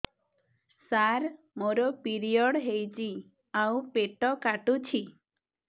ସାର ମୋର ପିରିଅଡ଼ ହେଇଚି ଆଉ ପେଟ କାଟୁଛି